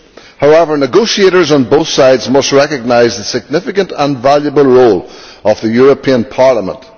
However, negotiators on both sides must recognise the significant and valuable role of the European Parliament.